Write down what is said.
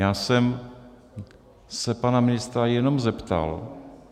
Já jsem se pana ministra jenom zeptal.